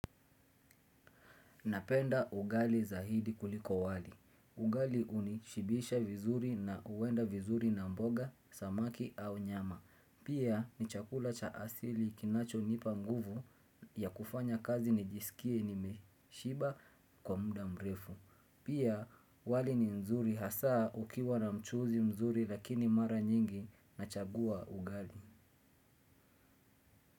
Napenda ugali zaidi kuliko wali. Ugali huni shibisha vizuri na huenda vizuri na mboga, samaki au nyama. Pia ni chakula cha asili kinacho nipa nguvu ya kufanya kazi ni jisikie ni meshiba kwa muda mrefu. Pia wali ni mzuri hasaa ukiwa na mchuzi mzuri lakini mara nyingi na chagua ugali.